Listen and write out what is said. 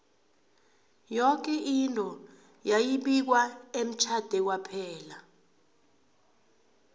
yoke into yayi bikwa emtjhade kwaphela